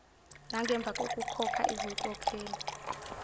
nangemva kokukhokha izinkokhelo